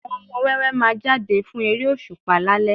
Àwọn ọmọ wẹ́wẹ́ máa jáde fún eré òṣùpá lálẹ́